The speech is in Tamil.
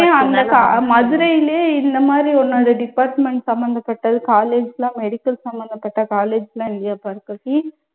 ஏன் அந்த கா அஹ் மதுரைலயே இந்த மாதிரி உன்னோட department சம்மந்தப்பட்டது college எல்லாம் medical சம்மந்தப்பட்ட college எல்லாம் இல்லையா பார்கவி?